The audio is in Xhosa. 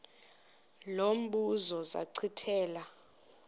lo mbuzo zachithela